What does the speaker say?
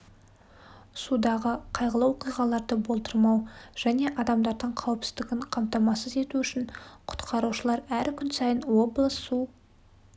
судағы қайғылы оқиғаларды болдырмау және адамдардың қауіпсіздігін қамтамасыз ету үшін құтқарушылар әр күн сайын облыс су